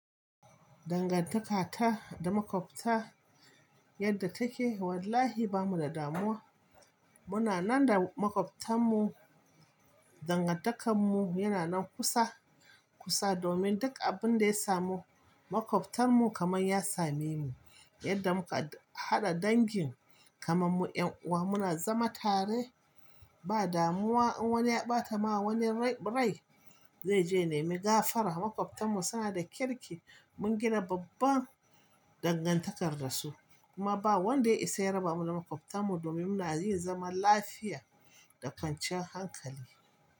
Dangantakata da makwabta yadda take wallahi bamu da damuwa. Muna nan da makwabtan mu, dangantakar mu yana nan kusa, kusa domin duk abin da ya samu makwabtan mu kamar ya same mu. Yadda muka haɗa dangin kamar mu 'yan uwa muna zama tare ba damuwa in wani ya ɓata ma wani rai zai je nemi gafara. Makwabtan mu suna da kirki, mun gina babban dangantakar da su kuma ba wanda ya isa ya raba mu da makwabtan mu domin muna yin zaman lafiya da kwancan hankali.